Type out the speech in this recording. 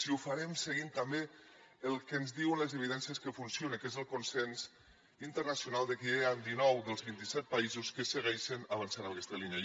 i ho farem seguint també el que ens diuen les evidències que funciona que és el consens internacional que ja hi han dinou dels vint i set països que segueixen avançant en aquesta línia